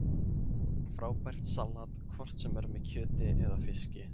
Frábært salat hvort sem er með kjöti eða fiski